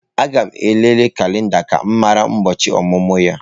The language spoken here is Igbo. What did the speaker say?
Aga m elele kalenda ka m mara ụbọchị ọmụmụ ya.